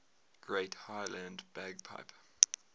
great highland bagpipe